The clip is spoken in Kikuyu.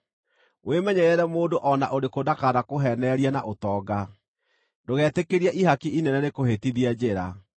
Wĩmenyerere mũndũ o na ũrĩkũ ndakanakũheenererie na ũtonga; ndũgetĩkĩrie ihaki inene rĩkũhĩtithie njĩra.